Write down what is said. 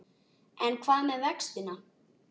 En hvað með vextina?